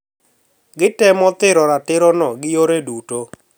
Gitemo thiro ratirono gi yore duto